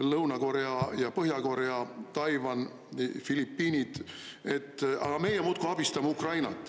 Lõuna-Korea ja Põhja-Korea, Taiwan, Filipiinid – aga meie muudkui abistame Ukrainat.